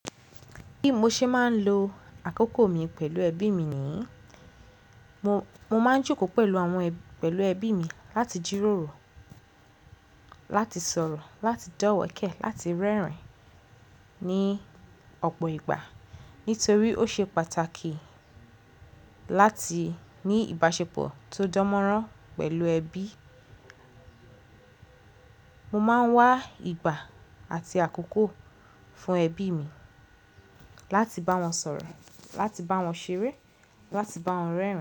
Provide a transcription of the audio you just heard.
Bí mo ṣe máa ń lo àkókò mi pẹ̀lú ẹbí mi ni mo, mo máa ń jòkó pẹ̀lú àwọn ẹ, pẹ̀lú ẹbí mi láti jíròrò, láti sọ̀rọ̀, láti dọ́wẹ̀kẹ̀, láti rẹ́rìn-ín ní ọ̀pọ̀ ìgbà. Nítorí ó ṣe pàtàkì láti ní ìbáṣepọ̀ tó dánmọ́rán pẹ̀lú ẹbí. Mo máa ń wá ìgbà àti àkókò fún ẹbí mi láti bá wọn sọ̀rọ̀, láti bá wọn ṣeré, láti bá wọn rẹ́rìn-ín.